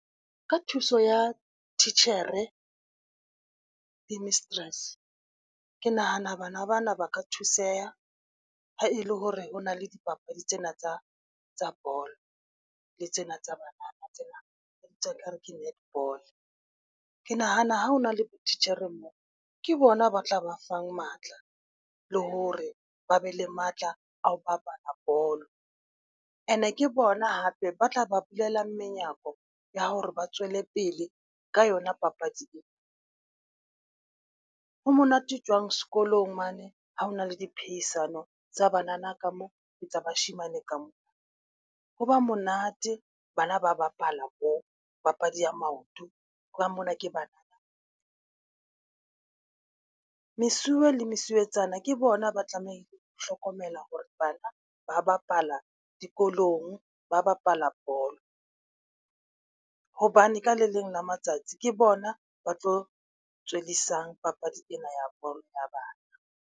Ka thuso ya titjhere di mistress ke nahana bana bana ba ka thuseha ha e le hore ho na le dipapadi tsena tsa tsa bolo, le tsena tsa tsena tsa nkare ke netball. Ke nahana ha hona le botitjhere moo ke bona ba tla ba fang matla le hore ba be le matla a ho bapala bolo. And-e ke bona hape ba tla ba bulela menyako ya hore ba tswele pele ka yona. Papadi e monate jwang sekolong mane ha hona le di phehisano tsa banana ka moo ke tsa bashemane ka moo. Ho ba monate bana ba bapala bo papadi ya maoto, hobane mona ke bana. Mesuwe le mesuwetsana ke bona ba tlameha ho hlokomela hore bana ba bapala dikolong, ba bapala bolo, hobane ka le leng la matsatsi ke bona ba tlo tswellisang papadi ena ya bolo ya bana.